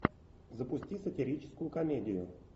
запусти сатирическую комедию